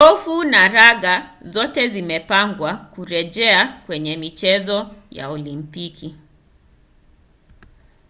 gofu na raga zote zimepangwa kurejea kwenye michezo ya olimpiki